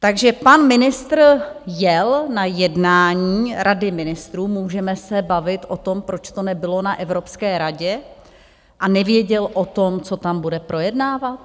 Takže pan ministr jel na jednání Rady ministrů - můžeme se bavit o tom, proč to nebylo na Evropské radě - a nevěděl o tom, co tam bude projednávat?